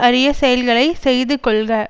அரிய செயல்களை செய்து கொள்க